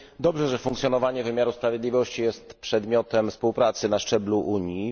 Dobrze, że funkcjonowanie wymiaru sprawiedliwości jest przedmiotem współpracy na szczeblu Unii.